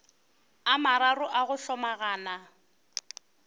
a mararo a go hlomagana